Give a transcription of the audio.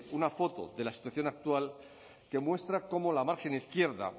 una foto de la situación actual que muestra cómo la margen izquierda